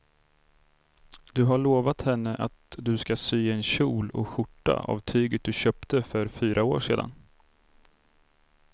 Du har lovat henne att du ska sy en kjol och skjorta av tyget du köpte för fyra år sedan.